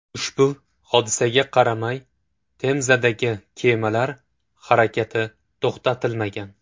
Ushbu hodisaga qaramay, Temzadagi kemalar harakati to‘xtatilmagan.